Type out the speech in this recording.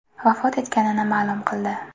vafot etganini ma’lum qildi.